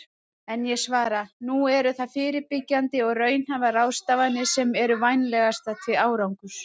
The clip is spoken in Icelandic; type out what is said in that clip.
En ég svara: Nú eru það fyrirbyggjandi og raunhæfar ráðstafanir sem eru vænlegastar til árangurs.